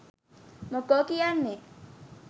මොකෝ කියන්නේ?